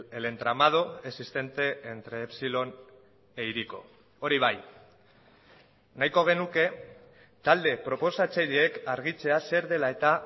el entramado existente entre epsilon e hiriko hori bai nahiko genuke talde proposatzaileek argitzea zer dela eta